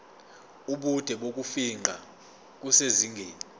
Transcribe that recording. ubude bokufingqa kusezingeni